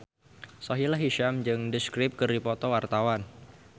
Sahila Hisyam jeung The Script keur dipoto ku wartawan